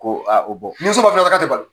Ko ni so ma fɛn fɛn fɔ ka t'ɛ balo.